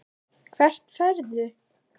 Hvert ferðu?